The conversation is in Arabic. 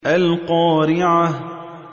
الْقَارِعَةُ